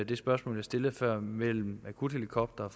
det spørgsmål jeg stillede før mellem akuthelikoptere